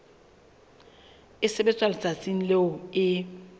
e sebetswa letsatsing leo e